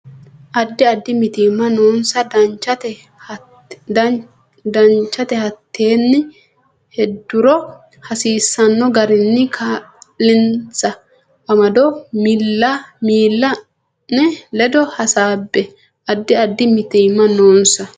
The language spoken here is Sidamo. Addi addi mitiimma noonsa Danchate hattenne heedhuro hasiisanno garinni kaa linsa amado miilla ne ledo hasaabbe Addi addi mitiimma noonsa.